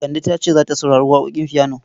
Kande ta ce za ta saurari waƙoƙin fiyano.